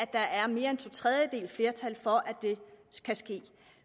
der er mere end to tredjedeles flertal for at det kan ske